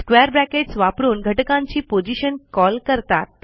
square brackets वापरून घटकांची position call करतात